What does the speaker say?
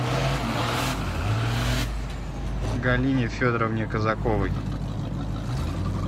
галине федоровне казаковой